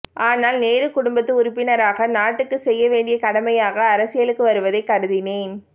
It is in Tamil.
ஆனால் நேரு குடும்பத்து உறுப்பினராக நாட்டுக்கு செய்ய வேண்டிய கடமையாக அரசியலுக்கு வருவதை கருதினேன்